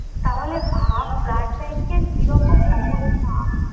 তাহলে ভাব blood bank এর কিরকম অবস্থা